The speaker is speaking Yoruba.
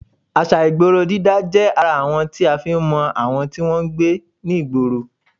À̀ṣà ìgboro dídá jẹ́ ara àwọn tí a fi ń mọ àwọn tí wọn ń gbé nígboro